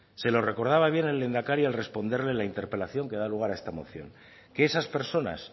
se lo recordaba bien el lehendakari al responderle la interpelación que da lugar a esta moción que esas personas